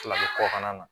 Fila ni kɔkan na